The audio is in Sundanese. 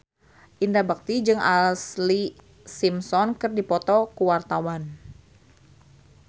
Indra Bekti jeung Ashlee Simpson keur dipoto ku wartawan